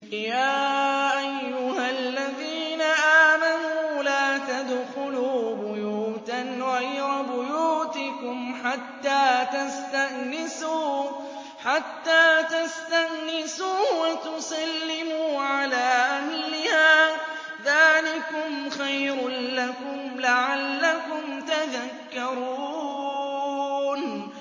يَا أَيُّهَا الَّذِينَ آمَنُوا لَا تَدْخُلُوا بُيُوتًا غَيْرَ بُيُوتِكُمْ حَتَّىٰ تَسْتَأْنِسُوا وَتُسَلِّمُوا عَلَىٰ أَهْلِهَا ۚ ذَٰلِكُمْ خَيْرٌ لَّكُمْ لَعَلَّكُمْ تَذَكَّرُونَ